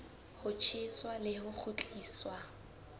ho tjheswa le ho kgutliswa